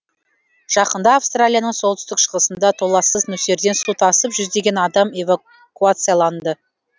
жақында австралияның солтүстік шығысында толлассыз нөсерден су тасып жүздеген адам эвакуацияланды